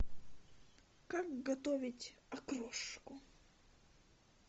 как готовить окрошку